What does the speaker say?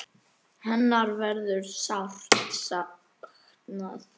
Hennar verður sárt saknað.